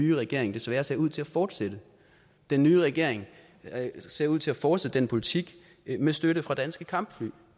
nye regering desværre ser ud til at fortsætte den nye regering ser ud til at fortsætte den politik med støtte fra danske kampfly